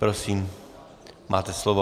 Prosím, máte slovo.